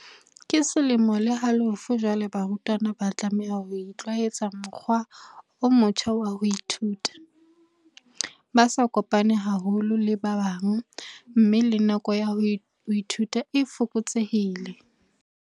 "Ke selemo le halofo jwale barutwana ba tlameha ho itlwaetsa mokgwa o motjha wa ho ithuta, ba sa kopane haholo le ba bang mme le nako ya ho ithuta e fokotsehile."